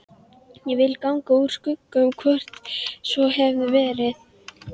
Ég vildi ganga úr skugga um hvort svo hefði verið.